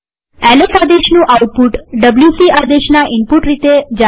LS આદેશનું output WC આદેશના input રીતે જાય છે